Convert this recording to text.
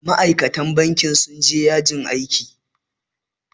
Ma'aikatan banki sun je ya jin aiki